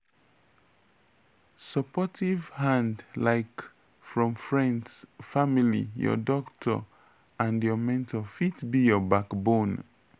supportive hand like from friends family your doctor and your mentor fit be your backbone.